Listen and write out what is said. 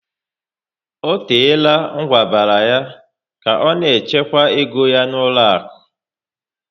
O teela ngwabara ya ka ọ na-echekwa égo ya n'ụlọaku